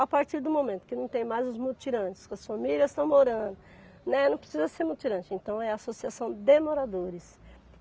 A partir do momento que não tem mais os mutirantes, que as famílias estão morando, né, não precisa ser mutirante, então é a associação de moradores.